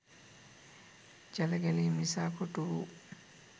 ජලගැලීම් නිසා කොටුවූ